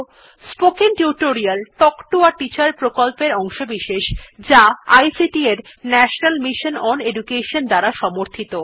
spoken tutorial talk to a teacher প্রকল্পের অংশবিশেষ যা আইসিটি এর ন্যাশনাল মিশন ওন এডুকেশন দ্বারা সমর্থিত